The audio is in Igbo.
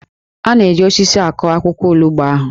A na-eji osisi akụ akwụkwọ olugbo ahụ